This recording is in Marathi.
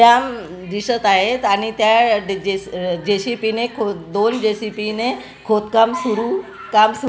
त्या म दिसत आहेत आणि त्या अ जे_सी_बी ने ख दोन जे_सी_बी ने खोदकाम सुरु काम सु--